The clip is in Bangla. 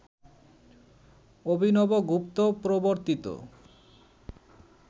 অভিনবগুপ্ত প্রবর্তিত